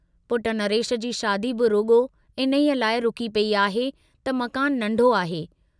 पुट नरेश जी शादी बि रुॻो इन्हीअ लाइ रुकी पेई आहे त मकान नंढो आहे।